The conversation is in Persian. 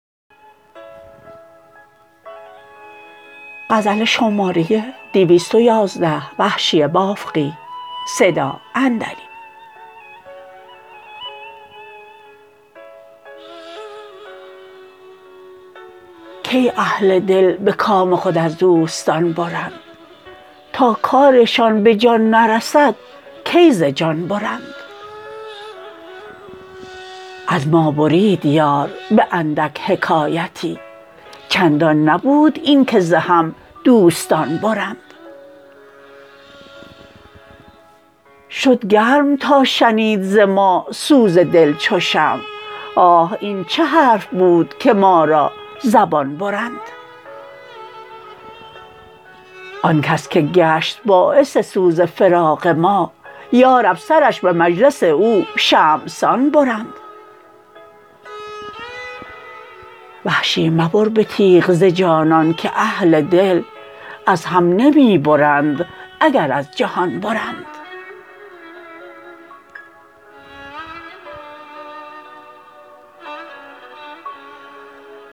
کی اهل دل به کام خود از دوستان برند تا کارشان به جان نرسد کی ز جان برند از ما برید یار به اندک حکایتی چندان نبود این که ز هم دوستان برند شد گرم تا شنید ز ما سوز دل چو شمع آه این چه حرف بود که ما را زبان برند آنکس که گشت باعث سوز فراق ما یارب سرش به مجلس او شمعسان برند وحشی مبر به تیغ ز جانان که اهل دل از هم نمی برند اگر از جهان برند